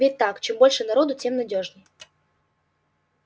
ведь так чем больше народу тем надёжней